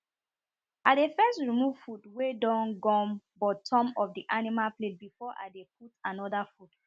i dey first remove food wen don gum bottom of the animal plate before i dey put another food